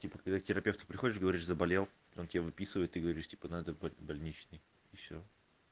типа когда к терапевту приходишь говоришь заболел он тебя выписывает ты говоришь типа надо брать больничный и всё